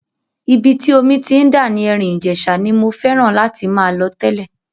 Ibi tí omi ti ń dà ní Erin Ijesa ni mo fẹ́ràn láti máa lọ tẹ́lẹ̀.